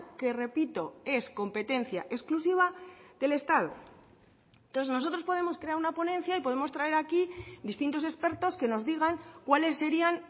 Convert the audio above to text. que repito es competencia exclusiva del estado entonces nosotros podemos crear una ponencia y podemos traer aquí distintos expertos que nos digan cuáles serían